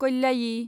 कल्लायि